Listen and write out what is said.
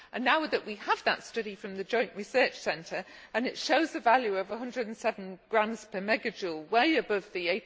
Now that we have that study from the Joint Research Centre and it shows the value of 107g per megajoule, way above the